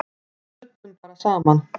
Við smullum bara saman.